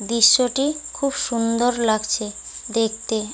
দৃশ্যটি খুব সুন্দর লাগছে দেখতে।